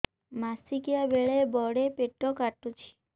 ମାସିକିଆ ବେଳେ ବଡେ ପେଟ କାଟୁଚି